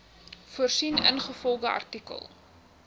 voorsien ingevolge artikel